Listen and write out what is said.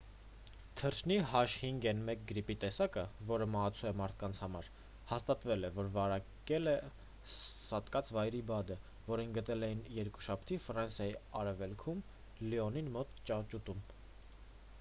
թռչնի h5n1 գրիպի տեսակը որը մահացու է մարդկանց համար հաստատվել է որ վարակել է սատկած վայրի բադը որին գտել էին երկուշաբթի ֆրանսիայի արևելքում լիոնին մոտ ճահճուտում: